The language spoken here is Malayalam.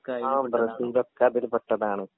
ആ ബ്രസീലോക്കെ അതിൽ പെട്ടതാണ്